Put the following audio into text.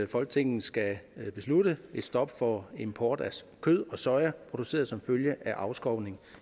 folketinget skal beslutte et stop for import af kød og soja produceret som følge af afskovning